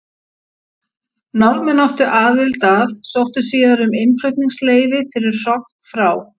Norðmenn áttu aðild að sóttu síðar um innflutningsleyfi fyrir hrogn frá